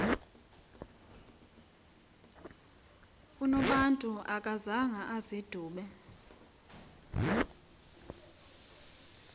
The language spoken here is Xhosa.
unobantu akazanga azidube